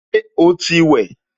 Ṣé o ti wẹ̀?